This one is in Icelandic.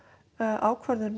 ákvörðun